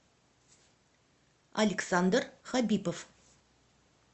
александр хабипов